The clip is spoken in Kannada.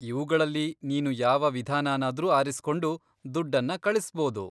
ಇವುಗಳಲ್ಲಿ ನೀನು ಯಾವ ವಿಧಾನನಾದ್ರೂ ಆರಿಸ್ಕೊಂಡು ದುಡ್ಡನ್ನ ಕಳಿಸ್ಬೋದು.